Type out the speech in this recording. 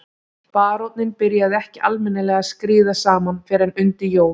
Baróninn byrjaði ekki almennilega að skríða saman fyrr en undir jól.